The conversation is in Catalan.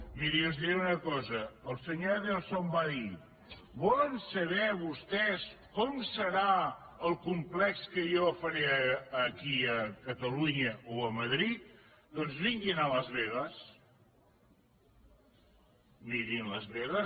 mirin els diré una cosa el senyor adelson va dir volen saber vostès com serà el complex que jo faré aquí a catalunya o a madrid doncs vinguin a las vegas mirin las vegas